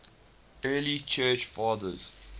early church fathers